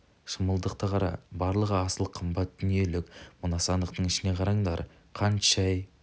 шымылдықты қара барлығы асыл қымбат дүниелік мына сандықтың ішіне қараңдар қант шай